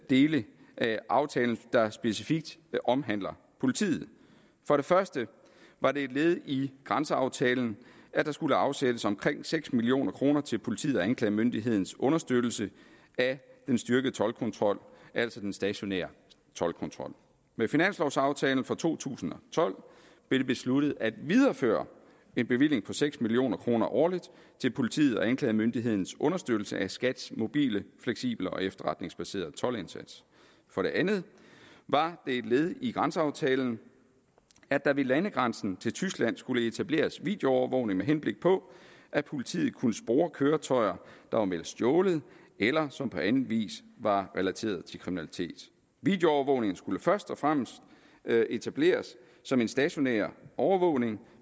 dele af aftalen der specifikt omhandler politiet for det første var det et led i grænseaftalen at der skulle afsættes omkring seks million kroner til politiet og anklagemyndighedens understøttelse af den styrkede toldkontrol altså den stationære toldkontrol med finanslovaftalen for to tusind og tolv blev det besluttet at videreføre en bevilling på seks million kroner årligt til politiet og anklagemyndighedens understøttelse af skats mobile fleksible og efterretningsbaserede toldindsats for det andet var det et led i grænseaftalen at der ved landegrænsen til tyskland skulle etableres videoovervågning med henblik på at politiet kunne spore køretøjer der var meldt stjålet eller som på anden vis var relateret til kriminalitet videoovervågning skulle først og fremmest etableres som en stationær overvågning